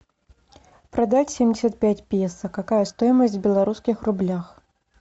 продать семьдесят пять песо какая стоимость в белорусских рублях